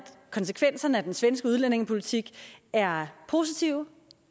konsekvenserne af den svenske udlændingepolitik er positive